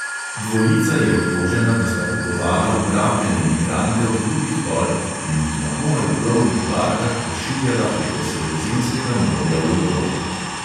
Dvojica je obtožena, da sta kupovala ugrabljene migrante od drugih tolp in jih na komaj plovnih barkah pošiljala preko sredozemskega morja v evropo.